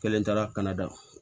Kelen taara ka na da